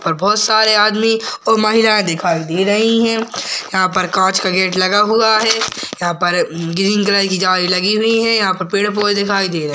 और बहुत सारे आदमी और महिलाएं दिखाई दे रही हैं। यहां पर कांच का गेट लगा हुआ है यहां पर अ म ग्रीन कलर की जाली लगी हुई है यहां पर पेड़ पौधे दिखाई दे रहे हैं।